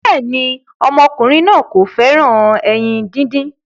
béèni ọmọkùnrin náa kò féràn ẹyin dín dín.